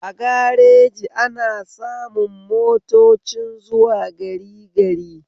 A gareji ana samun motocin zuwa gari gari